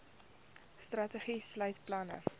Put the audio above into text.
strategie sluit planne